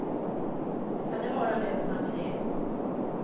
Kan det vara en lönsam idé.